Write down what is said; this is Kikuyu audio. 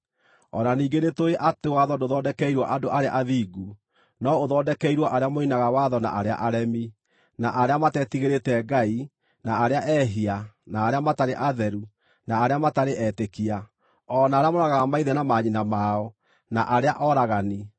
O na ningĩ nĩtũũĩ atĩ watho ndũthondekeirwo andũ arĩa athingu no ũthondekeirwo arĩa moinaga watho na arĩa aremi, na arĩa matetigĩrĩte Ngai na arĩa ehia, na arĩa matarĩ atheru na arĩa matarĩ etĩkia; o na arĩa moragaga maithe na manyina mao, na arĩa oragani,